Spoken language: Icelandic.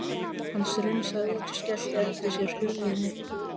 Hann strunsaði út og skellti eftir sér hurðinni.